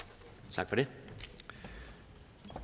tak